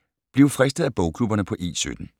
Bliv fristet af bogklubberne på E17